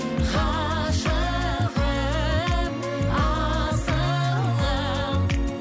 ғашығым асылым